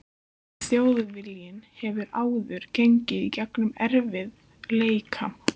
En Þjóðviljinn hefur áður gengið í gegnum erfið- leika.